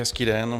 Hezký den.